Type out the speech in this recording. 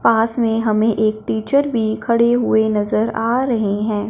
पास में हमें एक टीचर भी खड़े हुए नज़र आ रहे हैं।